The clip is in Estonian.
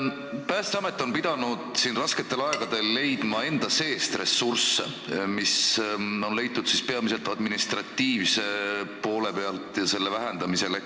Päästeamet on pidanud rasketel aegadel otsima enda seest ressursse, mis on leitud peamiselt administratiivset poolt vähendades.